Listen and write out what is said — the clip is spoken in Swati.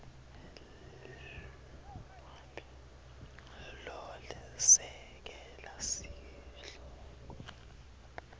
lo lesekela sihloko